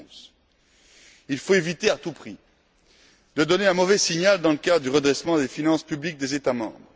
2011. Il faut éviter à tout prix de donner un mauvais signal dans le cadre du redressement des finances publiques des États membres.